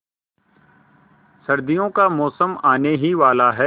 सर्दियों का मौसम आने ही वाला है